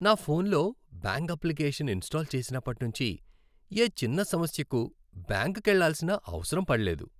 నా ఫోన్లో bank application install చేసినప్పటి నుంచి, ఏ చిన్న సమస్యకూ బ్యాంకుకెళ్ళాల్సిన అవసరం పడలేదు.